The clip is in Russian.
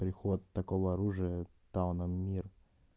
приход такого оружия тауна мир